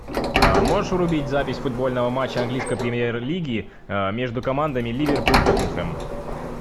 можешь врубить запись футбольного матча английской премьер лиги между командами ливерпуль тоттенхэм